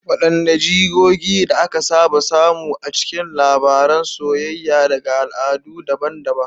Wadanne jigogi da aka saba samu a cikin labaran soyayya daga al'adu daban-daban?